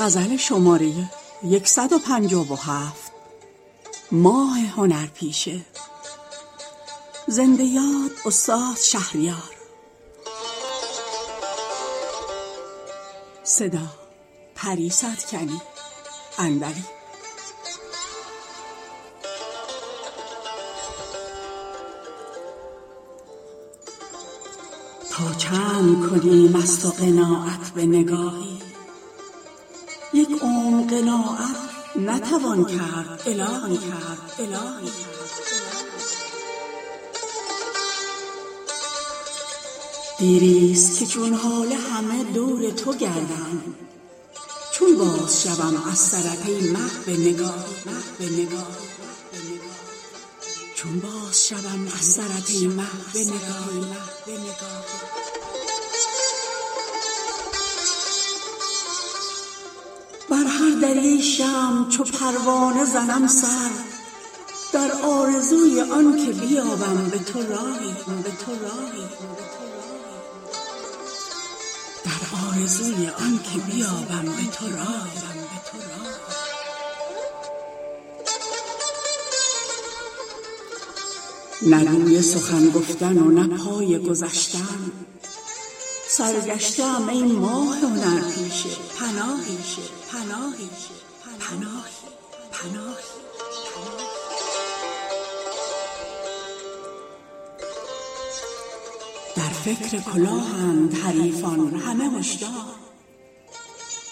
تا چند کنیم از تو قناعت به نگاهی یک عمر قناعت نتوان کرد الهی دیریست که چون هاله همه دور تو گردم چون بازشوم از سرت ای مه به نگاهی ماه از پی دیدن بود ای شوخ و گذشتن اما که گذشتن نتوان از چو تو ماهی بر هر دری ای شمع چو پروانه زنم سر در آرزوی آن که بیابم به تو راهی شب ها همه دنبال رفیق توام اما او هم قدم ماهی و من همدم آهی نه روی سخن گفتن و نه پای گذشتن سرگشته ام ای ماه هنرپیشه پناهی هر شب تو و یاران نوازنده ولیکن عشق تو به ما هم برسد گاه به گاهی در فکر کلاهند حریفان همه هشدار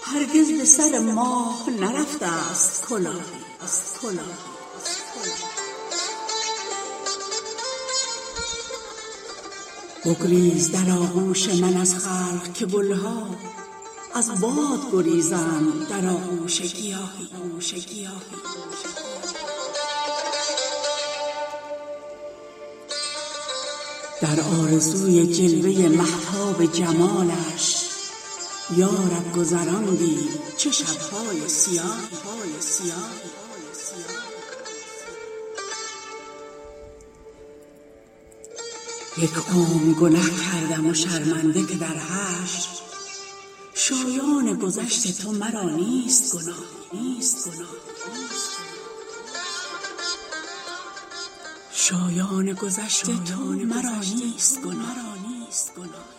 هرگز به سر ماه نرفته است کلاهی گمره مشو ای ماه که از شاهد گمراه در هر قدمی راه زند چاله و چاهی بگریز در آغوش من از خلق که گلها از باد گریزند در آغوش گیاهی در آرزوی جلوه مهتاب جمالش یا رب گذراندیم چه شبهای سیاهی یک عمر گنه کردم و شرمنده که در حشر شایان گذشت تو مرا نیست گناهی